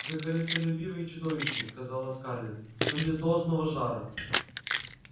вы корыстолюбивы и чудовищны сказала скарлетт но без должного жара